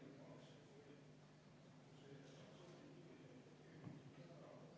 Nii, vaheaeg kümme minutit.